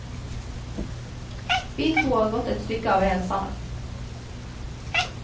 Vi to har gått et stykke av veien sammen.